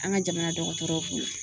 An ka jamana dɔgɔtɔrɔw bolo.